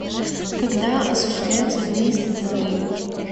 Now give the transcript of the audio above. когда осуществляется выезд из отеля